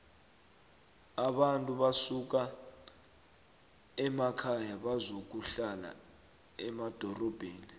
abantu basuka emakhaya bazokuhlala emadorobheni